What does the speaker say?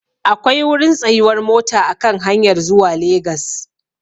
Akwai wurin tsayuwar mota a kan hanyar zuwa Legas.